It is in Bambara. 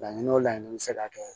Laɲini o laɲini bɛ se ka kɛ